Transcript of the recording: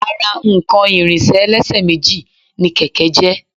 Ara nǹkan ìrìnsẹ̀ ẹlẹ́sẹ̀ méjì ni kẹ̀kẹ́ jẹ́